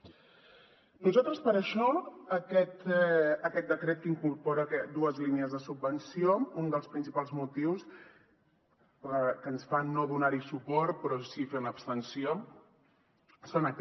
nosaltres per això aquest decret que incorpora dues línies de subvenció un dels principals motius que ens fan no donar hi suport però sí fer abstenció és aquest